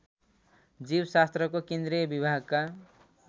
जीवशास्त्रको केन्द्रीय विभागका